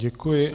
Děkuji.